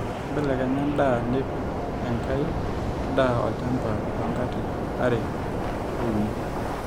mbelekenya endaa nipik enkai daa olchamba too nkatitin are ashu uni